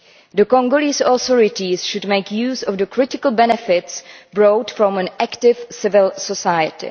The Congolese authorities should make use of the critical benefits brought by an active civil society.